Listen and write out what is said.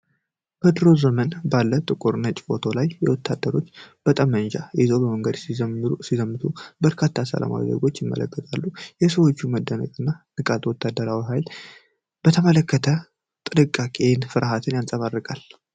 በድሮ ዘመን ባለ ጥቁርና ነጭ ፎቶ ላይ ወታደሮች ጠመንጃ ይዘው በመንገድ ሲዘምቱ በርካታ ሰላማዊ ዜጎች ይመለከታሉ። የሰዎቹ መደነቅና ንቃት ወታደራዊ ሀይልን በተመለከተ ጥንቃቄንና ፍርሃትን ያንፀባርቃል።